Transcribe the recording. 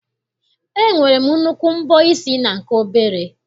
E nwere nnukwu mbọ isi na nke obere.